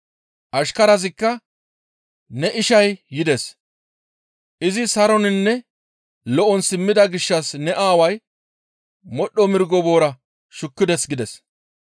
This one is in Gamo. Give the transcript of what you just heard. Ashkarazikka, ‹Ne ishay yides; izi saroninne lo7on simmida gishshas ne aaway modhdho mirgo boora shukkides› gides.